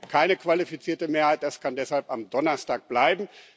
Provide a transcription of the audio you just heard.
Da brauchen wir keine qualifizierte Mehrheit, das kann deshalb am Donnerstag bleiben.